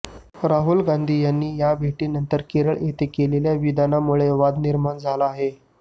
राहुल गांधी यांनी या भेटी नंतर केरळ येथे केलेल्या विधानामुळे वाद निर्माण झाला आहे